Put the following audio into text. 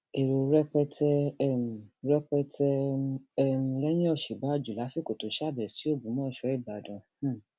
èrò rẹpẹtẹ um rẹpẹtẹ um lẹyìn òsínbàjò lásìkò tó ṣàbẹwò sí ògbómọṣọ ìbàdàn um